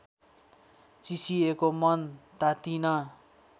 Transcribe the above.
चिसिएको मन तातिन